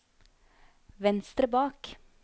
venstre bak